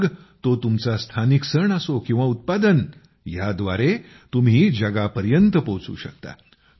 मग तो तुमचा स्थानिक सण असो किंवा उत्पादन ह्या द्वारे तुम्ही जगापर्यंत पोचू शकता